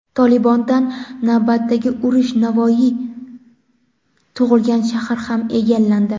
"Tolibon"dan navbatdagi yurish: Navoiy tug‘ilgan shahar ham egallandi.